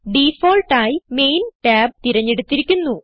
default ആയി main tab തിരഞ്ഞെടുത്തിരിക്കുന്നു